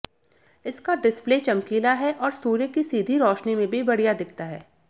इसका डिसप्ले चमकीला है और सूर्य की सीधी रोशनी में भी बढ़िया दिखता है